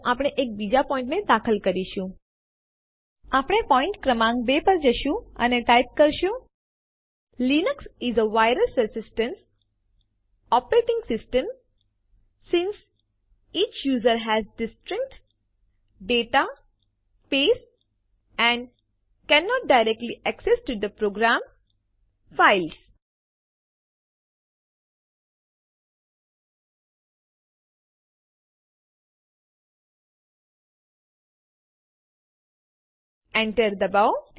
આપણે પોઈન્ટ ક્રમાંક 2 પર જશું અને ટાઈપ કરીશું Enter એન્ટર દબાવો